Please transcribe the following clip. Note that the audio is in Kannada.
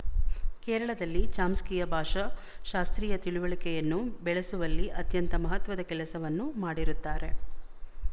ಕೇರಳದಲ್ಲಿ ಚಾಮ್‍ಸ್ಕಿಯ ಭಾಷಾ ಶಾಸ್ತ್ರೀಯ ತಿಳುವಳಿಕೆಯನ್ನು ಬೆಳಸುವಲ್ಲಿ ಅತ್ಯಂತ ಮಹತ್ವದ ಕೆಲಸವನ್ನು ಮಾಡಿರುತ್ತಾರೆ